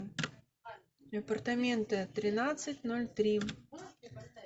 апартаменты тринадцать ноль три